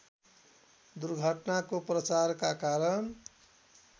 दुर्घटनाको प्रचारका कारण